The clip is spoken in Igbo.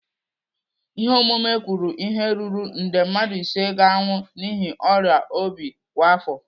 Ihe ọmụmụ kwuru ihe ruru nde mmadụ ise ga-anwụ n'ihi ọrịa obi kwa afọ.